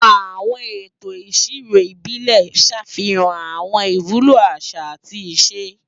Àwọn ètò ìṣirò ìbílẹ̀ ń ṣàfihàn àwọn ìwúlò àṣà àti ìṣe.